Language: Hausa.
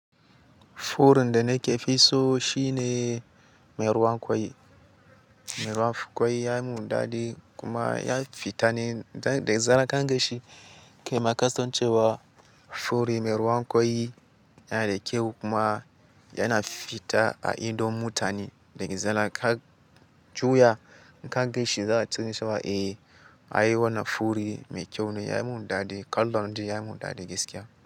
Furin da nake fi so shine mai ruwan kwai. Mai ruwan kwai ya yi mundade kuma ya fita ne daga zanaka gashi. Kaima kasancewar furi mai ruwan kwai yana da kyau kuma yana fita a ido mutane daga zanaka. Juya in ka ganshi za su san cewa eh, ai wannan furi mai kyau ne. Ya yi mun dade, kallon shi ya yi mundade gaskiya.